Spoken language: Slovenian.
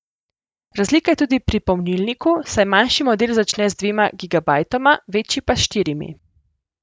Razlika je tudi pri pomnilniku, saj manjši model začne z dvema gigabajtoma, večji pa s štirimi.